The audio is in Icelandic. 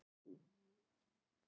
Franklin, er bolti á mánudaginn?